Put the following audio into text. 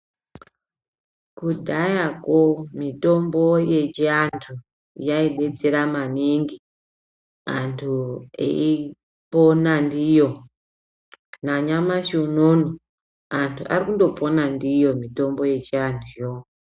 Kudhayako mitombo yechiantu yaidetsera maningi, antu eyipona ndiyo. Nanyamashi unouno antu ari kundopona ndiyo mitombo yechiantuyo.